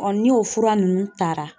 ni o fura nunnu taara.